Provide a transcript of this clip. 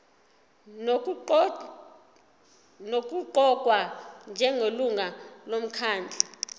nokuqokwa njengelungu lomkhandlu